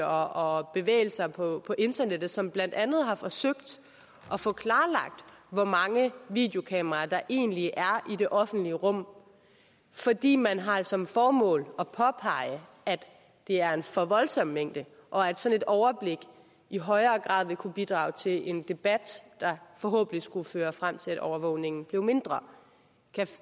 og bevægelser på internettet som blandt andet har forsøgt at få klarlagt hvor mange videokameraer der egentlig er i det offentlige rum fordi man har som formål at påpege at det er en for voldsom mængde og at et sådant overblik i højere grad ville kunne bidrage til en debat der forhåbentlig skulle føre frem til at overvågningen blev mindre